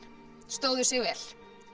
stóðu sig vel